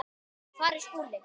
Hvar er Skúli?